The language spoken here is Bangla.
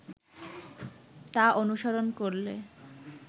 তা অনুসরণ করলে